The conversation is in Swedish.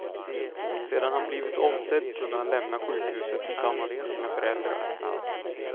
Sedan han blivit omsedd kunde han lämna sjukhuset tillsammans med sina föräldrar.